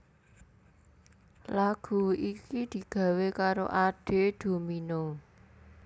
Lagu iki digawé karo Ade Domino